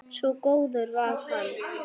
Svo góður var hann.